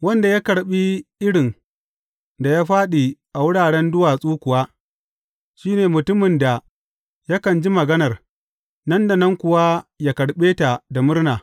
Wanda ya karɓi irin da ya fāɗi a wuraren duwatsu kuwa, shi ne mutumin da yakan ji maganar, nan da nan kuwa yă karɓe ta da murna.